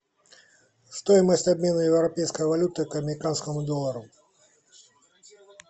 стоимость обмена европейской валюты к американскому доллару